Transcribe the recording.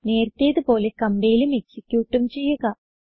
നേരത്തേത് പോലെ കംപൈലും എക്സിക്യൂട്ടും ചെയ്യുക